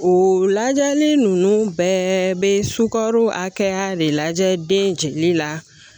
O lajɛli ninnu bɛɛ bɛ sukaro hakɛya de lajɛ den jigili la